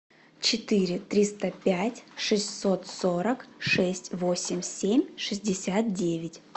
четыре триста пять шестьсот сорок шесть восемь семь шестьдесят девять